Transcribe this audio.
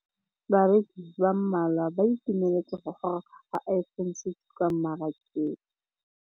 Bareki ba ba malwa ba ituemeletse go gôrôga ga Iphone6 kwa mmarakeng.